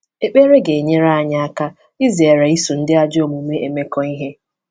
Ekpere ga-enyere anyị aka izere iso ndị ajọ omume emekọ ihe